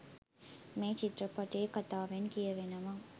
මේ චිත්‍රපටයේ කථාවෙන් කියවෙනවා